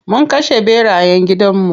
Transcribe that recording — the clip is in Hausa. Mun kashe ɓerayen gidan mu.